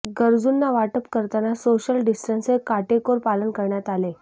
गरजूंना वाटप करताना सोशल डिस्टन्स चे काटेकोर पालन करण्यात आले